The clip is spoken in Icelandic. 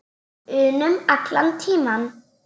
unum allan tímann.